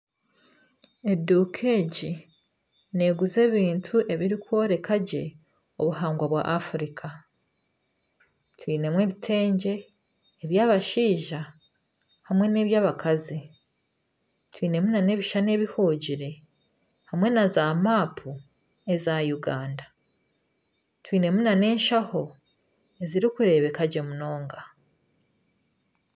Eduuka egi neeguza ebintu ebirikworeka ngye obuhangwa bwa Afrika twinemu ebitengye eby'abashaija hamwe n'eby'abakazi twine ebishushani ebihugire hamwe na zaamaapu eza Uganda, twinemu nana eshaaho ezirikureebeka gye munonga